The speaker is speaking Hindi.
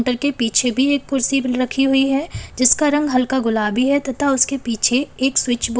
के पीछे भी एक कुर्सी रखी हुई है जिसका रंग हल्का गुलाबी है तथा उसके पीछे एक स्विच बोर्ड --